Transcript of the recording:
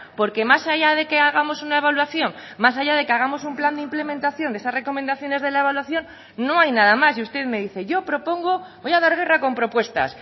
porque más allá de que hagamos una evaluación más allá de que hagamos un plan de implementación de esas recomendaciones de la evaluación no hay nada más y usted me dice yo propongo voy a dar guerra con propuestas